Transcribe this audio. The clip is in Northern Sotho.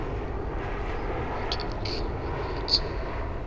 go ba ke mo hlabanetše